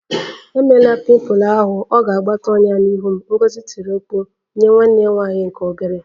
Emela pimple ahụ! Ọ ga-akpata ọnyá n'ihu m, Ngozi tiri mkpu nwanne ya nwanyị nke obere